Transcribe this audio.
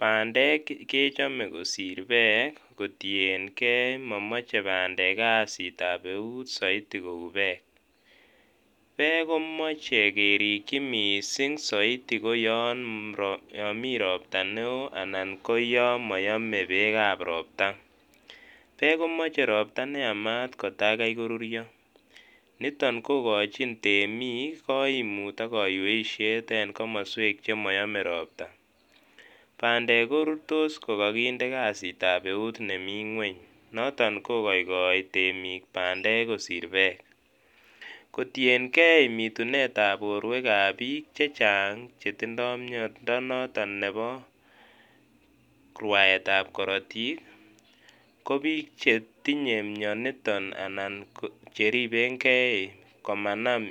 Bandek kechome kosir beek kotienkee momoche bandek kasit ab eut soiti kou beek, beek komoche kerikyi mising soiti ko yon mii robta neo anan ko yon moyome beek ab robta, beek komoche robta neyamat kotakai koruryo niton kokochin temiik koimut ak kaiwesiet en komoswek chemoyome robta, bandek korurtos kokokindee kasitab eut nemingweny noton kokoikoi temiik bandek kosir beek, kotienkee bitunet ab borwek ab biik chechang chetindo miondo noton nebo rwaetab korotik kobiik chetinye mioniton anan ko cheriben Kee komanam